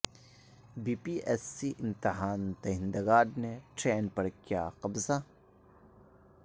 be P S C امتحان دہندگان نے ٹرین پر کیاقبضہ